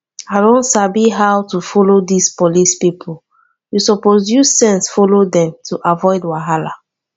i don sabi how to follow dis police people you suppose use sense follow dem to avoid wahala